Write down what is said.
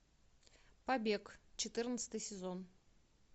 побег четырнадцатый сезон